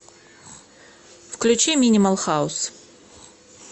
включи минимал хаус